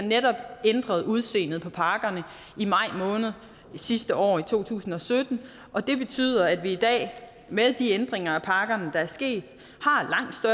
ændret udseendet på pakkerne i maj måned sidste år i to tusind og sytten og det betyder at vi i dag med de ændringer af pakkerne der er sket